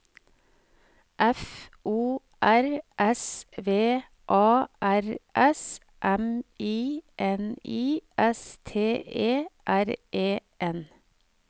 F O R S V A R S M I N I S T E R E N